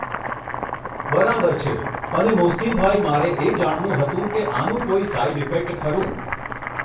બરાબર છે અને મોહસીનભાઈ મારે એ જાણવું હતું કે આનું કોઈ સાઇડઇફેક્ટ ખરું